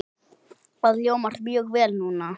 Það hljómar mjög vel núna.